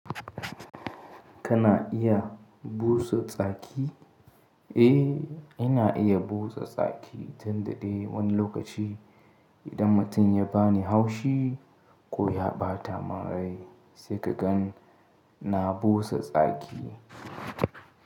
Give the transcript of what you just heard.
Kana iya busa tsaki? Eh, ina iya busa tsaki tun dade wani lokaci. Idan mutum ya bani haushi ko ya ɓata mim rai, sai kakan na busa tsaki.